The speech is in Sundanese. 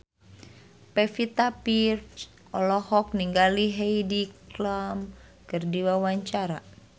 Pevita Pearce olohok ningali Heidi Klum keur diwawancara